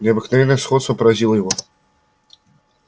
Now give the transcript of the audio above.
необыкновенное сходство поразило его